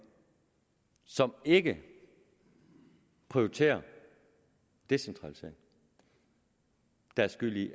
som ikke prioriterer en decentralisering der er skyld i